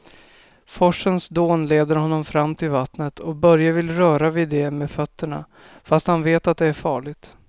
Forsens dån leder honom fram till vattnet och Börje vill röra vid det med fötterna, fast han vet att det är farligt.